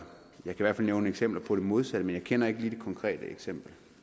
jeg kan i hvert fald nævne eksempler på det modsatte men jeg kender ikke lige det konkrete eksempel